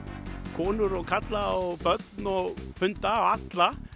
konur og karla og börn og hunda og alla